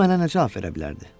O mənə necə cavab verə bilərdi?